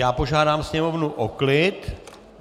Já požádám Sněmovnu o klid!